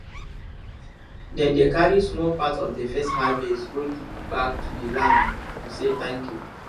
dem dey carry small part from the first harvest go give back to the land to say thank you